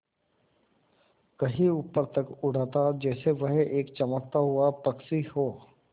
कहीं ऊपर तक उड़ाता जैसे वह एक चमकता हुआ पक्षी हो